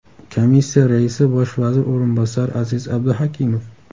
Komissiya raisi bosh vazir o‘rinbosari Aziz Abduhakimov.